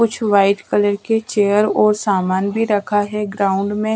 कुछ white colour के chair और सामान भी रखा है ग्राउंड में--